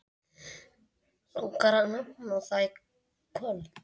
Langar að nefna það kvöld.